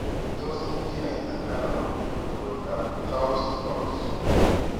Tos kinaita ano koroitoab Townes Brocks?